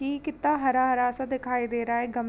कि कितना हरा-हरा सा दिखाई दे रहा है गम --